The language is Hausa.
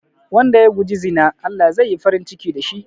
Wanda ya guji zina Allah zai yi farin ciki da shi